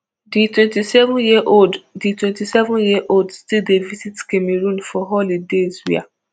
di twenty-seven years old di twenty-seven years old still dey visit cameroon for holidays wia